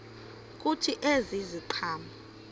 kuthi ezi ziqhamo